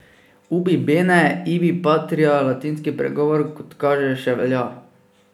Ubi bene, ibi patria, latinski pregovor, kot kaže, še velja.